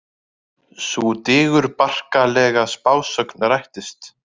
Sú digurbarkalega spásögn rættist.